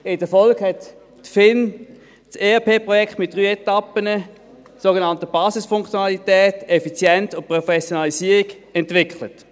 In der Folge entwickelte die FIN das ERP-Projekt mit drei Etappen: die sogenannte Basisfunktionalität, die Effizienz und Professionalisierung.